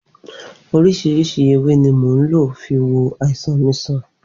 Oríṣìíríṣìí ewé ni mo lò fi wo àìsàn mi sàn